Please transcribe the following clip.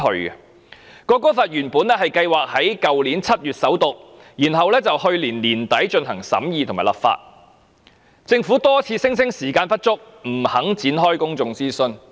原本《國歌條例草案》計劃在去年7月首讀，然後在去年年底進行審議和立法，但政府多次聲稱時間不足，不願意展開公眾諮詢。